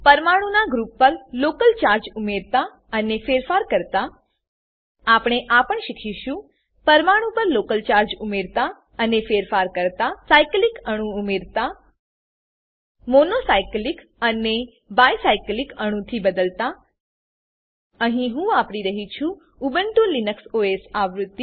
પરમાણુ ના ગ્રુપ પર લોકલ ચાર્જ ઉમેરતા અને ફેરફાર કરતા આપણે આ પણ શીખીશું પરમાણુ પર લોકલ ચાર્જ ઉમેરતા અને ફેરફાર કરતા સાઈકલીક અણુ ઉમેરતા મોનો સાઈકલીક ને બાઈ સાઈકલીક અણુ થી બદલાતા અહી હું વાપરી રહ્યી છું ઉબુન્ટુ લિનક્સ ઓએસ આવૃત્તિ